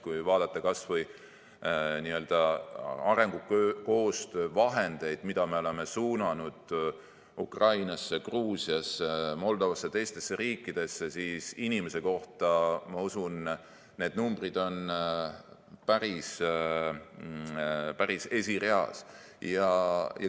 Kui vaadata kas või arengukoostöö vahendeid, mida me oleme suunanud Ukrainasse, Gruusiasse, Moldovasse ja teistesse riikidesse, siis inimese kohta, ma usun, on need numbrid päris-päris esireas.